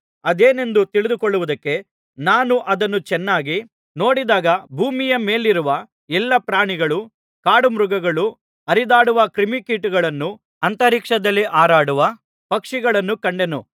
ಅದೇನೆಂದು ತಿಳಿದುಕೊಳ್ಳುವುದಕ್ಕೆ ನಾನು ಅದನ್ನು ಚೆನ್ನಾಗಿ ನೋಡಿದಾಗ ಭೂಮಿಯ ಮೇಲಿರುವ ಎಲ್ಲಾ ಪ್ರಾಣಿಗಳು ಕಾಡುಮೃಗಳು ಹರಿದಾಡುವ ಕ್ರಿಮಿಕೀಟಗಳನ್ನೂ ಅಂತರಿಕ್ಷದಲ್ಲಿ ಹಾರಾಡುವ ಪಕ್ಷಿಗಳನ್ನೂ ಕಂಡೆನು